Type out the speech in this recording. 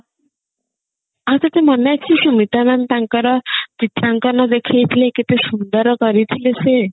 ଆଉ ତତେ ମନେ ଅଛି ସ୍ମିତା mam ତାଙ୍କର ଚିତ୍ରାଙ୍କନ ଦେଖେଇଥିଲେ କେତେ ସୁନ୍ଦର କରି ଥିଲେ ସେ